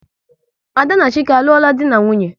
Ada na Chike alulo dị na nwunye?